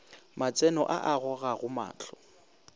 matseno a a gogago mahlo